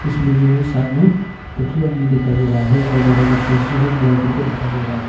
इसमें जो है साथ में दो ठो आदमी दिखाई दे रहा है और दोनों का फेस जो है ब्लर करके दिखाई दे रहा है।